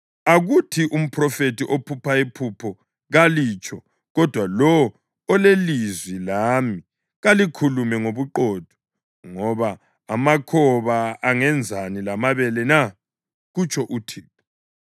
Akuthi umphrofethi ophupha iphupho kalitsho, kodwa lowo olelizwi lami kalikhulume ngobuqotho, ngoba amakhoba angenzani lamabele na?” kutsho uThixo.